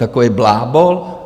Takový blábol?